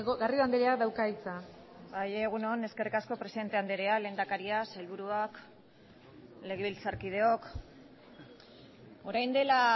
garrido andreak dauka hitza bai egun on eskerrik asko presidente andrea lehendakaria sailburuak legebiltzarkideok orain dela